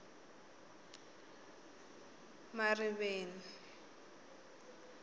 mariveni